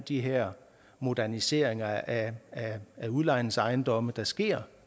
de her moderniseringer af af udlejningsejendomme der sker